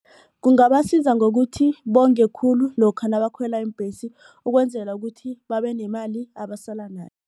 Kungabasiza ngokuthi bonge khulu lokha nabakhwela iimbhesi ukwenzela ukuthi babe nemali abasala nayo.